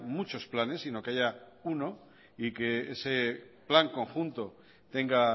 muchos planes sino que haya uno y que ese plan conjunto tenga